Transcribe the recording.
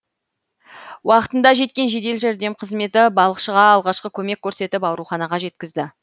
уақытында жеткен жедел жәрдем қызметі балықшыға алғашқы көмек көрсетіп ауруханаға жеткізді